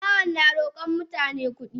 Makahon na rokon mutane kudi.